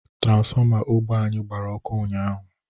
Tranfọma ogbe anyi gbara ọkụ ụnyahụ